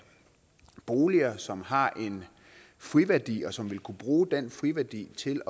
boliger som har en friværdi og som vil kunne bruge den friværdi til